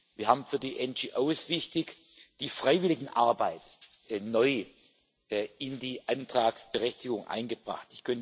Wir haben für die NGOs wichtig die Freiwilligenarbeit neu in die Antragsberechtigung eingebracht.